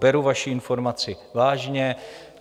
Beru vaši informaci vážně.